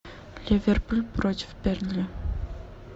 ливерпуль против бернли